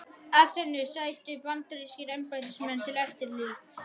Aþenu sætu bandarískir embættismenn til eftirlits.